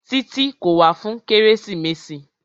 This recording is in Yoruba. Títí kò wá fún kérésìmesì.